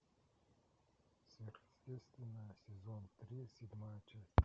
сверхъестественное сезон три седьмая часть